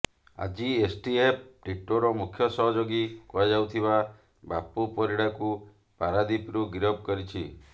ଆଜି ଏସ୍ଟିଏଫ୍ ଟିଟୋର ମୁଖ୍ୟ ସହଯୋଗୀ କୁହାଯାଉଥିବା ବାପୁ ପରିଡ଼ାକୁ ପାରାଦୀପରୁ ଗିରଫ କରିଛି